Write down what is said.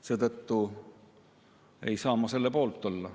Seetõttu ei saa ma selle poolt olla.